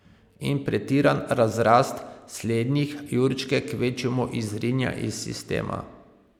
In pretiran razrast slednjih jurčke kvečjemu izrinja iz sistema.